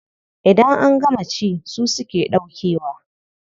Idan an gama ci su suke ɗaukewa.